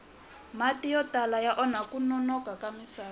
mati yo tala ya onha kunona ka misava